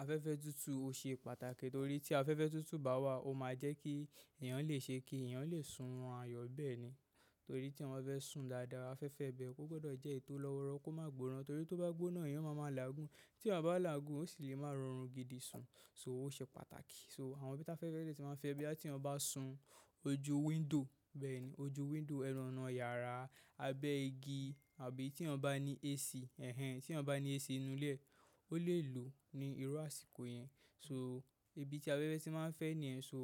Afẹ́fẹ́ tútù ò ṣe pàtàkì torí tí afẹ́fẹ́ tútù bá wà ó máa jẹ́ kí ẹ̀yàn lè ṣe kí ẹ̀yàn lè sun ọrun ayo bẹ́ẹ̀ni. Torí tí eyan wa fẹ́ sùn dáadáa afẹ́fẹ́ bẹ ó gbọ́dọ̀ jẹ́ ètò lọ́wọ́rọ ko má gbóná torí tó bá gbóná ẹ̀yàn máa ma làágùn, tí eyan bá làágùn ó sì lè má rọrùn gidi sun. So ó ṣe pàtàkì so àwọn ibi tí afẹ́fẹ́ de tí máa fẹ́ boya tí ayon bá sun ojú window bẹ́ẹ̀ni ojú window, ẹnu ọ̀nà yàrá, abẹ́ igi àbí tí eyan bá ní AC ẹ̀hen, tí eyan bá ní AC nínú ilé e, ó lè lò ní irú àsìkò yẹn. So ibi tí afẹ́fẹ́ tí máa ń fẹ́ nìyen so